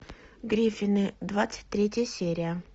гриффины двадцать третья серия